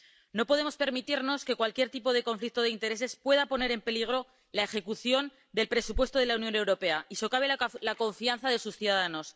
No podemos permitirnos que cualquier tipo de conflicto de intereses pueda poner en peligro la ejecución del presupuesto de la Unión Europea y socave la confianza de sus ciudadanos.